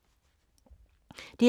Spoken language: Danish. DR K